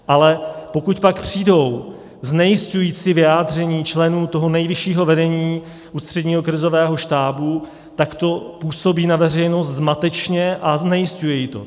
Ale pokud pak přijdou znejisťující vyjádření členů toho nejvyššího vedení Ústředního krizového štábu, tak to působí na veřejnost zmatečně a znejisťuje ji to.